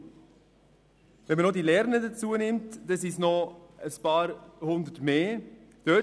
Wenn man die Lernenden dazuzählt, kommen einige Hundert Personen mehr dazu.